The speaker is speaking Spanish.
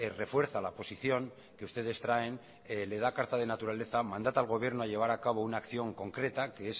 refuerza la posición que ustedes traen le da carta de naturaleza mandata al gobierno a llevar a cabo una acción concreta que